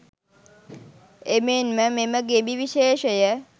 එමෙන්ම මෙම ගෙඹි විශේෂය